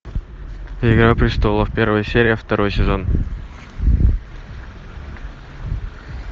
игра престолов первая серия второй сезон